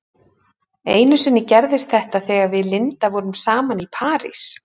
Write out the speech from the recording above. Einu sinni gerðist þetta þegar við Linda vorum saman í París.